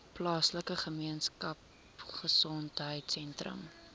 plaaslike gemeenskapgesondheid sentrum